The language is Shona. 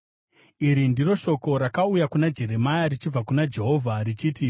Iri ndiro shoko rakauya kuna Jeremia richibva kuna Jehovha richiti,